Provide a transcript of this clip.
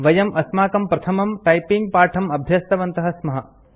वयं अस्माकं प्रथमं टाइपिंग पाठं अभ्यस्तवन्तः स्मः